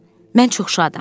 Mən çox şadam.